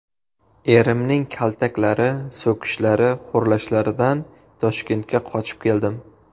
Erimning kaltaklari, so‘kishlari, xo‘rlashlaridan Toshkentga qochib keldim.